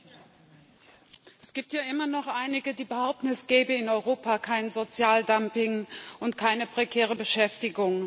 Frau Präsidentin! Es gibt ja immer noch einige, die behaupten, es gäbe in Europa kein Sozialdumping und keine prekäre Beschäftigung.